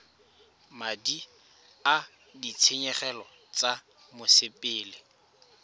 madi a ditshenyegelo tsa mosepele